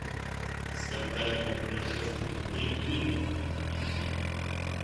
скандальное происшествие в брикмилле поищи